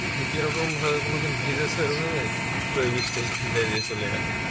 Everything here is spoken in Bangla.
নি কিরকম ভাবে কোনদিন ভিজেছ র=এরম ভাবে হুট করে বৃষ্টি এসে ভিজায় দিয়ে চলে গেল